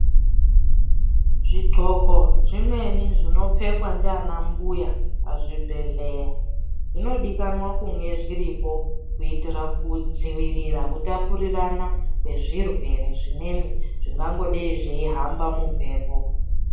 Zvidhloko zvimweni zvinopfekwa ndiana mbuya muzvibhehleya zvinofana kunge zviripo kuitira kudzivirira kutapurirana kwezvirwere zvimweni zvingangodai zveihamba mumhepo.